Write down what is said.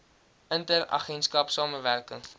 inter agentskap samewerking